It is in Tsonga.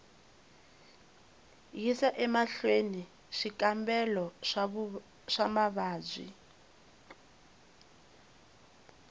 yisa emahlweni swikambelo swa mavabyi